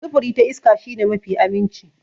Sufuri ta iska shi ne mafi aminci.